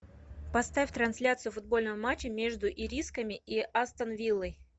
поставь трансляцию футбольного матча между ирисками и астон виллой